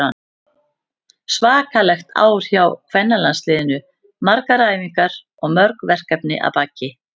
Svakalegt ár hjá kvennalandsliðinu, margar æfingar og mörg verkefni að baki.